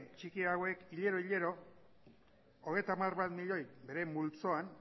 txiki hauek hilero hilero hogeita hamar milioi bere multzoan